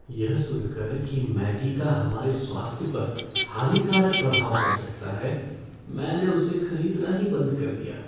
यह सुनकर कि मैगी का हमारे स्वास्थ्य पर हानिकारक प्रभाव पड़ सकता है, मैंने उसे खरीदना ही बंद कर दिया।